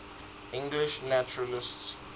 english naturalists